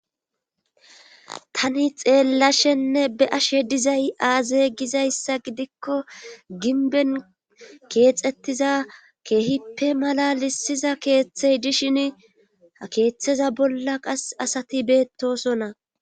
tani xeellashenne be ashe dizay aaze gizayssa gidikko ginben keexettiza keehippe malalisiza keeththey dishin ha keeththeza bolla qas asati beettosonna